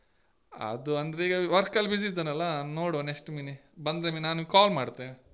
ಅದು ಅಂದ್ರೆ ಈಗ work ಅಲ್ಲಿ busy ಇದ್ದೇನಲ್ಲ ನೋಡುವ next ಮಿನಿ ಬಂದೊಮ್ಮೆ ನಾನ್ ನಿಮ್ಗೆ call ಮಾಡ್ತೆ.